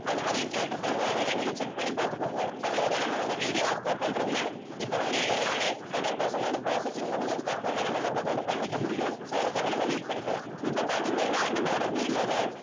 அந்த மாதிரி கேட்டிருக்காங்க அதெல்லாம் நீங்க check பண்ணி பார்த்துக்கோங்க அவ்வளவுதான் நம்ம வந்து video upload பண்றதுல இப்ப வந்து எல்லாமே hundred percent வந்து processing முடிஞ்சதுக்கு அப்புறம்தான் நம்ம மத்தது வந்து பண்ணிக்க முடியும் so அதுக்காக நம்ம wait பண்ணிக்கலாம். இப்ப பார்த்தீங்கன்னா நம்மளோட video ல